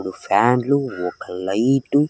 ఓ ఫ్యాన్లు ఒక లైటు --